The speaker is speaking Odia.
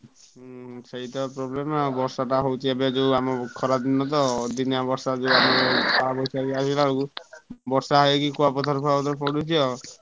ହୁଁ ସେଇତ problem ଆଉ ବର୍ଷାଟା ହଉଛି ଏବେ ଯୋଉ ଆମ ଖରା ଦିନ ତ ଅଦିନିଆ ବର୍ଷା କାଳବୈଶାଖୀ ବର୍ଷା ହେଇକି କୁଆପଥର ଫୁଆପଥର ପଡୁଛି ଆଉ।